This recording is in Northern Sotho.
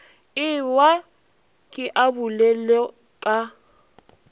ewa ke abula le ka